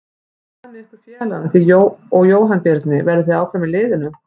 Hvað með ykkur félagana þig og Jóhann Birnir, verðið þið áfram með liðið?